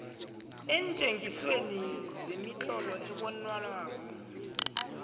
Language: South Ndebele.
eentjengisweni zemitlolo ebonwako